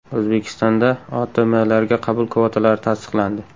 O‘zbekistonda OTMlarga qabul kvotalari tasdiqlandi.